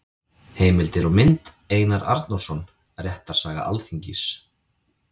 Heimildir og mynd: Einar Arnórsson: Réttarsaga Alþingis.